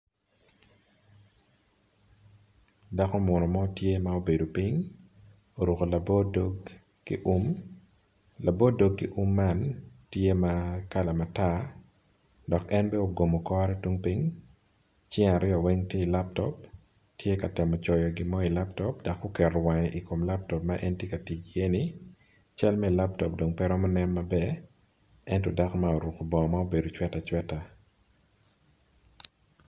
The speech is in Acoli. Dako munu mo tye ma obedo ping oruko labor dog ki um labor dog ki um man tye ma kala matar dok en bene ogumo kore tung pin cinge aryo weng tye i laptop tye ka temo coyo gimo ilaptop dok oketo wange ikom laptop ma en tye ka tic i ye ni cal em laptop dong pe romo nen maber ento dako ma oruko bongo mabedo calo cweta cweta.